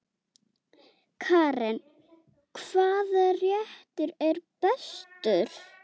Karen: Hvaða réttur er bestur?